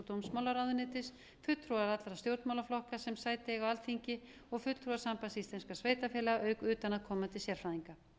dómsmálaráðuneytis fulltrúar allra stjórnmálaflokka sem sæti eiga á alþingi og fulltrúar sambands íslenskum sveitarfélaga auk utanaðkomandi sérfræðinga